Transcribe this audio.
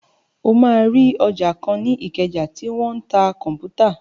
O máa rí ọjà kan ní ìkẹjà tí wọ́n tí ń ta kọ̀m̀pútà.